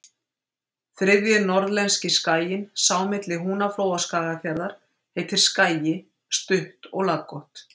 Þriðji norðlenski skaginn, sá milli Húnaflóa og Skagafjarðar, heitir Skagi, stutt og laggott.